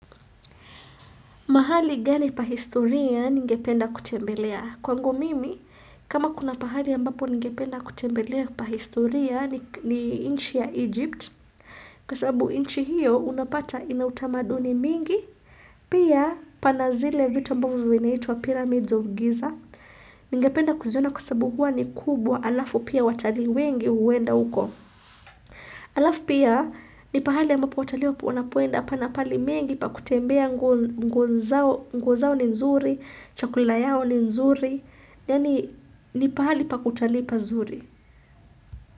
Mahali gani pahistoria ningependa kutembelea? Kwangu mimi, kama kuna pahali ambapo ningependa kutembelea pa historia ni nchi ya Egypt. Kwa sababu inchi hiyo unapata ina utamaduni mingi, pia pana zile vitu ambavo vinaitwa pyramids of Giza. Ningependa kuziona kwa sababu huwa ni kubwa alafu pia watalii wengi huwenda huko. Alafu pia ni pahali abmapo watalii wanapoenda pana paali mengi pa kutembea nguo zao ni nzuri, chakulila yao ni nzuri, ni pahali pa kutalii pazuri.